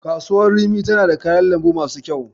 Kasuwar rimi tana da kayan lambu masu kyau.